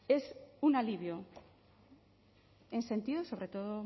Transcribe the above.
es un alivio en sentido sobre todo